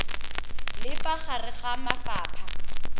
le fa gare ga mafapha